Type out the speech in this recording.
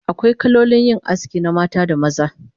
Akwai kalolin aski na mata da maza